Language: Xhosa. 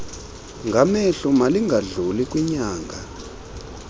ngamehlo malingadluli kwinyanga